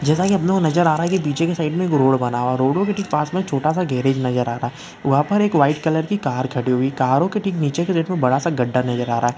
जैसा कि आप लोगो को नज़र आ रहा है की पीछे की साइड में एक रोड बना हुआ है रोडो के पास में एक छोटा सा गेरिज नज़र आ रहा है वहाँ पर एक वाइट कलर की कार खड़ी हुई है करो के ठीक नीचे एक बड़ा सा गड्डा नज़र आ रहा है।